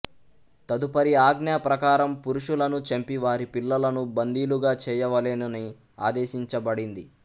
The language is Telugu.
తదుపరి ఆజ్ఞ ప్రకారము పురుషులను చంపి వారి పిల్లలను బందీలుగా చేయవలెనని ఆదేశించబడింది